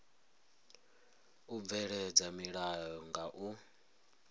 u bveledza milayo nga u